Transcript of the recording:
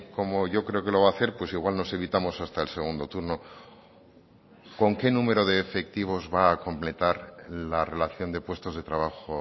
como yo creo que lo va a hacer pues igual nos evitamos hasta el segundo turno con qué número de efectivos va a completar la relación de puestos de trabajo